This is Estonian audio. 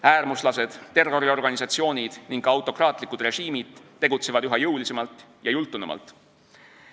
Äärmuslased, terroriorganisatsioonid ning ka autokraatlikud režiimid tegutsevad üha jõulisemalt ja jultunumalt.